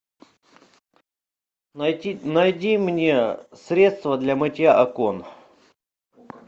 найди мне средство для мытья окон